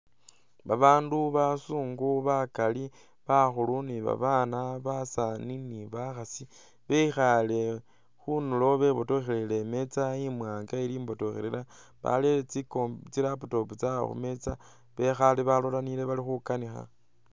Babaandu bazungu bakaali ne babaana, basaani ne bakhaasi, bekhaale khundulo bebotokhele imeeza imwaanga ili imbotokhelela barere tsi compu tsi laptop tsaabwe khumeeza. Bekhaale balolelanile bali khukaniikha.